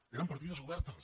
eren partides obertes